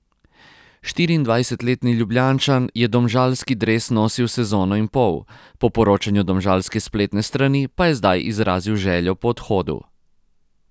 Štiriindvajsetletni Ljubljančan je domžalski dres nosil sezono in pol, po poročanju domžalske spletne strani pa je zdaj izrazil željo po odhodu.